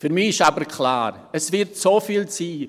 Für mich ist aber klar, es wird so viel sein: